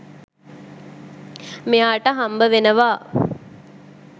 මෙයාට හම්බවෙනවා.